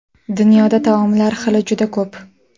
Dunyoda taomlar xili juda ko‘p.